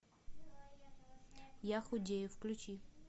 я худею включи